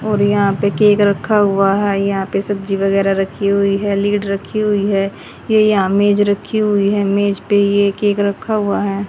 और यहां पे केक रखा हुआ है यहां पे सब्जी वगैरह रखी हुई है लीड रखी हुई है ये यहां मेज रखी हुई है मेज पे ये केक रखा हुआ है।